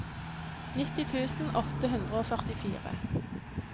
nitti tusen åtte hundre og førtifire